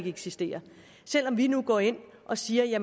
eksistere selv om vi nu går ind og siger at